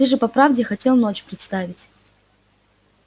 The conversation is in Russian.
ты же по правде хотел ночь представить